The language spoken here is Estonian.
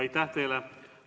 Aitäh teile!